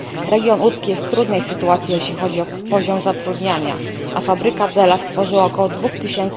Region łódzki jest w trudnej sytuacji jeśli chodzi o poziom zatrudniania, a fabryka Della stworzyła około 2 tys.